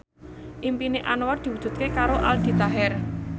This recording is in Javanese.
impine Anwar diwujudke karo Aldi Taher